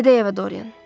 Gedəy evə Dorian.